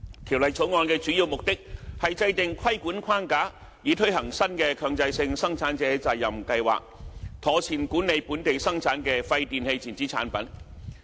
《條例草案》的主要目的是制訂規管框架，以推行新的強制性生產者責任計劃，妥善管理本地產生的廢電器電子產品。